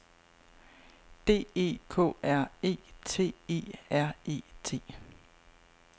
D E K R E T E R E T